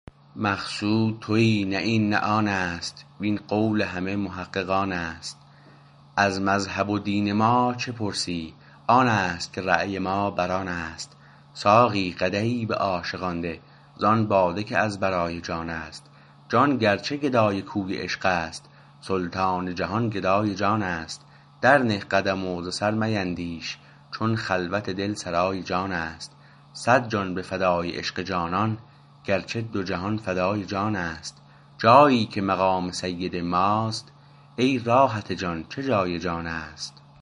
مقصود تویی نه این نه آنست وین قول همه محققانست از مذهب و دین ما چه پرسی آنست که رای ما برآنست ساقی قدحی به عاشقان ده زان باده که از برای جانست جان گرچه گدای کوی عشقست سلطان جهان گدای جانست در نه قدم و ز سر میندیش چون خلوت دل سرای جانست صد جان به فدای عشق جانان گرچه دو جهان فدای جانست جایی که مقام سید ماست ای راحت جان چه جای جانست